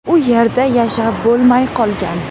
U yerda yashab bo‘lmay qolgan.